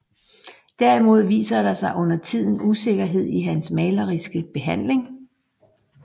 Derimod viser der sig undertiden usikkerhed i hans maleriske behandling